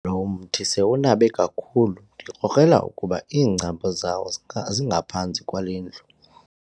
Lo mthi sowunabe kakhulu ndikrokrela ukuba iingcambu zawo zingaphantsi kwale ndlu.